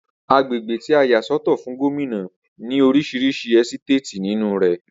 Agbègbè tí a yà sọ́tọ̀ fún Gómìnà ní orísirísi ẹ́sítéètì nínú rè